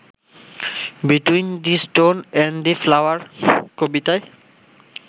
between the stone and the flower কবিতায়